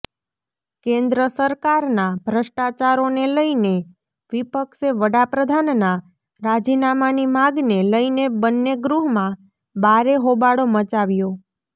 કેન્દ્ર સરકારના ભ્રષ્ટાચારોને લઈને વિપક્ષે વડાપ્રધાનના રાજીનામાની માગને લઈને બંને ગૃહમાં બારે હોબાળો મચાવ્યો